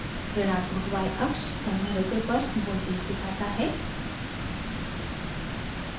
ऋणात्मक yअक्ष संधारित्र पर voltage दिखाता है